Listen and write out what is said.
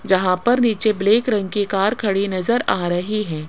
जहां पर नीचे ब्लैक रंग की कार खड़ी नजर आ रही है।